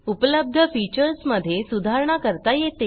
उपलब्ध फीचर्समधे सुधारणा करता येते